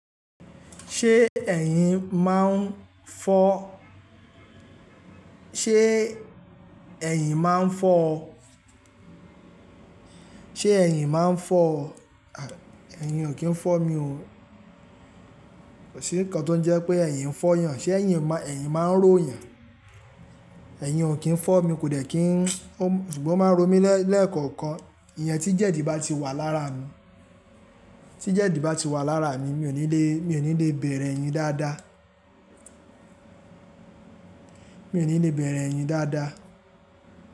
Ṣé ẹ̀yin máa ń fọ́? Ṣé ẹ̀yin máa ń fọ́ ọ? Ṣé ẹ̀yin máa ń fọ́ ọ? Ẹ̀yin ò kí ń fọ́ mi o. Kò sí nǹkan tó ń jẹ́ pé ẹ̀yin ń fọ́ yàn. Ṣé ẹ̀yin, ẹ̀yin máa ń ró yàn? Ẹ̀yin ò kí ń fọ́ mi, kò dẹ̀ kí ń, ṣùgbọ́n ó máa ń ró mi lẹ́ẹ̀kọ̀ọ̀kan. Ìyẹn tí jẹ̀dí bá ti wà lára mi, tí jẹ̀dí bá ti wà lára mi, mi ò ní lè, mi ò ní lè bẹ̀rẹ̀ ẹ̀yin dáadáa. Mi ò ní lè bẹ̀rẹ̀ ẹ̀yin dáadáa.